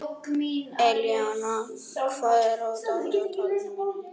Elíanna, hvað er á dagatalinu mínu í dag?